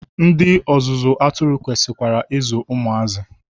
Ndị ọzụzụ atụrụ kwesikwara I zụ ụmụazị.